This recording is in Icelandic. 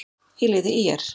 í liði ÍR.